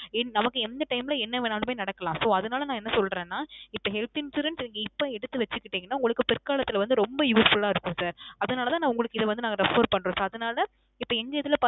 ஏன் நமக்கு எந்த time ல என்ன வேணாலுமே நடக்கலாம். So அதனால நான் என்ன சொல்றேன்னா, இப்போ health insurance இப்போ எடுத்து வச்சுக்கிட்டிங்கனா உங்களுக்கு பிற்காலத்துல வந்து ரொம்ப useful ஆ இருக்கும் sir. அதனாலதான் நான் உங்களுக்கு இத வந்து நாங்க refer பண்றோம் sir. அதனால இப்போ எங்க இதுல